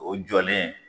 O jɔlen